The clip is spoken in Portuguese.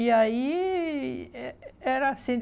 E aí, eh eh era assim.